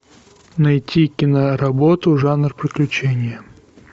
найти киноработу жанр приключения